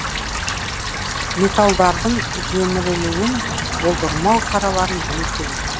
металдардың жемірілуін болдырмау шараларын білу керек